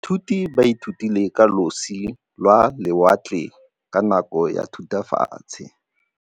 Baithuti ba ithutile ka losi lwa lewatle ka nako ya Thutafatshe.